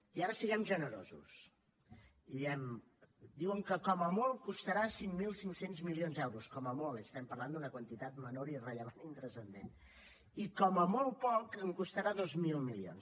i ara siguem generosos diguem ne diuen que com a molt costarà cinc mil cinc cents milions d’euros com a molt és a dir estem parlant d’una quantitat menor irrellevant i intranscendent i com a molt poc costarà dos mil milions